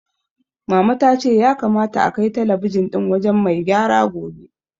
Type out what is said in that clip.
Mama ta ce ya kamata akai talabijin ɗin wajen mai gyara gobe.